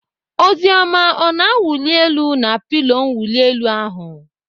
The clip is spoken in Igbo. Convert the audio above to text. Oziọma ọ na-awuli elu na pilo mwuli elu ahụ?